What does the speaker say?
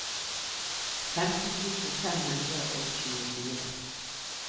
femten tusen fem hundre og tjuefire